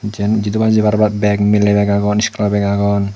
jin jidu pai jebar bag miley bag agon school o bag agon.